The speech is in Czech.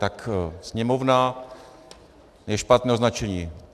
Tak Sněmovna je špatné označení.